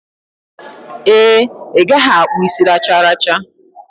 Ee, I gaghi akpu isi racharacha.